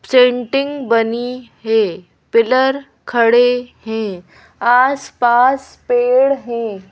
Centering बनी है pillar खड़े हैं आसपास पेड़ हैं।